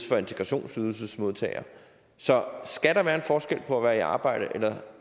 for integrationsydelsesmodtagere så skal der være en forskel på at være i arbejde eller